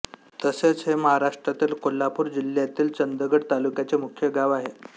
तसेच हे महाराष्ट्रातील कोल्हापूर जिल्ह्यातील चंदगड तालुक्याचे मुख्य गाव आहे